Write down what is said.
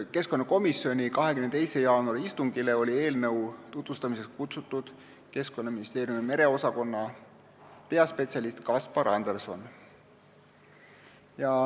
Keskkonnakomisjoni 22. jaanuari istungile oli eelnõu tutvustamiseks kutsutud Keskkonnaministeeriumi merekeskkonna osakonna peaspetsialist Kaspar Anderson.